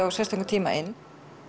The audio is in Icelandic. á sérstökum tíma inn